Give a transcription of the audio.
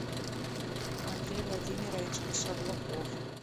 андрей владимирович шавлуков